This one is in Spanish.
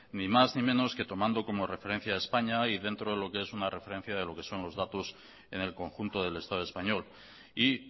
ni más ni menos tomando que como referencia a españa y dentro de lo que es una referencia de lo que son los datos en el conjunto del estado español y